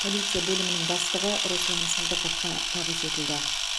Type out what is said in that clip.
полиция бөлімінің бастығы руслан сыздықовқа табыс етілді